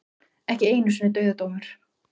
Ekki einu sinni dauðadómur.